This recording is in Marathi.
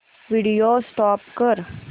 व्हिडिओ स्टॉप कर